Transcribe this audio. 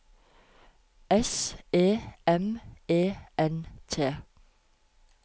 S E M E N T